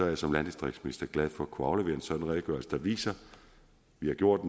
jeg som landdistriktsminister glad for at kunne aflevere en sådan redegørelse der viser at vi har gjort